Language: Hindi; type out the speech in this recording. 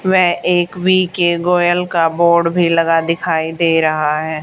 व एक वी के गोयल का बोर्ड भी लगा दिखाई दे रहा है।